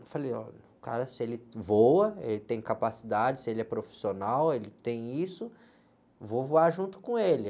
Eu falei, olha, o cara, se ele voa, ele tem capacidade, se ele é profissional, ele tem isso, vou voar junto com ele.